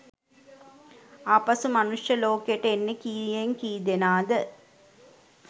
ආපසු මනුෂ්‍යය ලෝකෙට එන්නෙ කීයෙන් කීදෙනාද?